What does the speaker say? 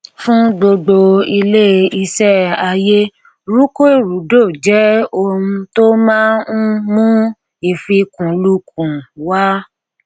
fún gbogbo ilé iṣẹ àyè rúkèrúdò jẹ ohun tó máa ń mú ìfikúnluùkùn wà